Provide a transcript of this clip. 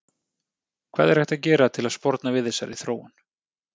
Hvað er hægt að gera til að sporna við þessari þróun?